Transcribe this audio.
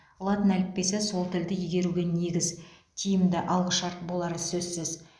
латын әліппесі сол тілді игеруге негіз тиімді алғышарт болары сөзсіз